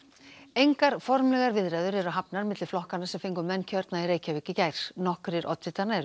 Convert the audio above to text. engar formlegar viðræður eru hafnar milli flokkanna sem fengu menn kjörna í Reykjavík í gær nokkrir oddvitanna eru